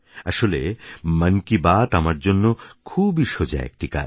আসলে মন কি বাত আমার জন্য খুবই সোজা একটি কাজ